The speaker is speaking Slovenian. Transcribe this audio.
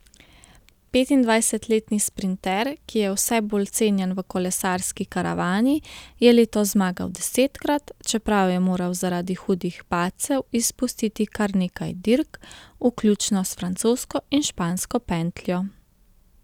Petindvajsetletni sprinter, ki je vse bolj cenjen v kolesarski karavani, je letos zmagal desetkrat, čeprav je moral zaradi hudih padcev izpustiti kar nekaj dirk, vključno s francosko in špansko pentljo.